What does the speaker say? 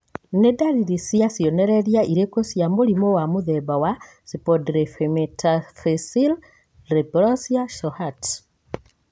Nĩ dariri na cionereria irĩkũ cia mũrimũ wa mũthemba wa Spondyloepimetaphyseal dysplasia Shohat